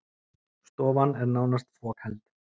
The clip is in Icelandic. Stofan er nánast fokheld